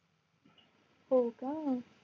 होका